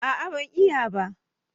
A'a ban iya ba